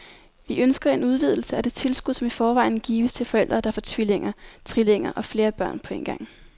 Vi ønsker en udvidelse af det tilskud, som i forvejen gives til forældre, der får tvillinger, trillinger eller flere børn på en gang.